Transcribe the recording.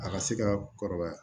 A ka se ka kɔrɔbaya